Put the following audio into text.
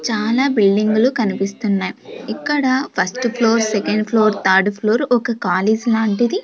చాలా బిల్డింగ్లు కనిపిస్తున్నాయి ఇక్కడ first floor second floor third floor ఒక కాలేజ్ లాంటిది.